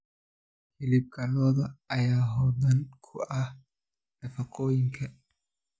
Hilibka lo'da ayaa hodan ku ah nafaqooyinka.